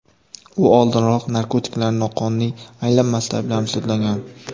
U oldinroq narkotiklarning noqonuniy aylanmasida ayblanib, sudlangan.